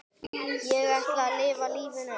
Ég ætla að lifa lífinu.